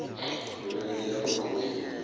oluyonika ugqozi kinina